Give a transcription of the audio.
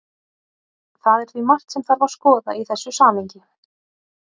Það er því margt sem þarf að skoða í þessu samhengi.